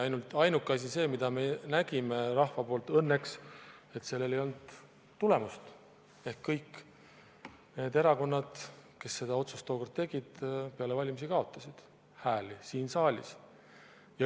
Ainuke asi õnneks oli see, mida me nägime rahva poolt, et sellel ei olnud tulemust, ehk kõik need erakonnad, kes selle otsuse tookord tegid, peale valimisi kaotasid hääli siin saalis.